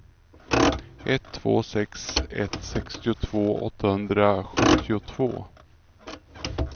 ett två sex ett sextiotvå åttahundrasjuttiotvå